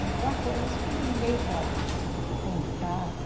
Então, há coisas que ninguém pode contar